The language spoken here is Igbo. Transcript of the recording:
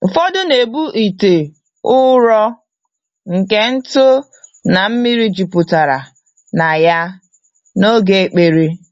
Ụfọdụ na-ebu ite ụrọ nke ntụ na mmiri jupụtara na ya, n'oge ekpere.